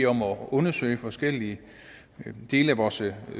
om at undersøge forskellige dele af vores